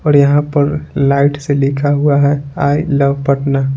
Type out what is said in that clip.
और यहां पर लाइट से लिखा हुआ है आई लव पटना ।